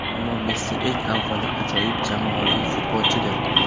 Ammo Messi eng avvalo, ajoyib jamoaviy futbolchidir.